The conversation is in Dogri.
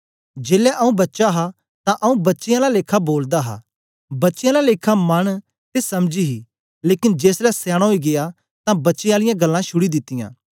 जेलै आऊँ बच्चा हा तां आऊँ बच्चें आला लेखा बोलदा हा बच्चें आला लेखा मन ते समझ ही लेकन जेसलै सयाना ओई गीया तां बच्चें आलियां गल्लां छुड़ी दित्तियां